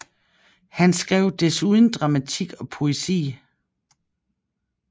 Han skrev desuden dramatik og poesi